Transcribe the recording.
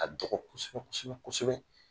A dɔgɔ kosɛbɛ kosɛbɛ kosɛbɛ